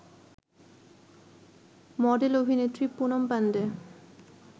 মডেল-অভিনেত্রী Poonam Pandey